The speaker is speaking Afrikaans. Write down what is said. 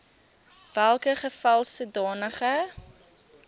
welke geval sodanige